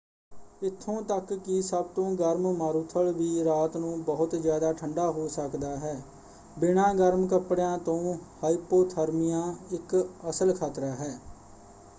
ਇੱਥੋਂ ਤੱਕ ਕਿ ਸਭ ਤੋਂ ਗਰਮ ਮਾਰੂਥਲ ਵੀ ਰਾਤ ਨੂੰ ਬਹੁਤ ਜ਼ਿਆਦਾ ਠੰਡਾ ਹੋ ਸਕਦਾ ਹੈ। ਬਿਨਾਂ ਗਰਮ ਕੱਪੜਿਆਂ ਤੋਂ ਹਾਇਪੋਥਰਮੀਆ ਇੱਕ ਅਸਲ ਖਤਰਾ ਹੈ।